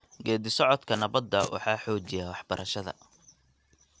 Geedi-socodka nabadda waxaa xoojiya waxbarashada.